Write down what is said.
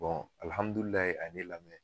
alihamudulila a ye ne lamɛn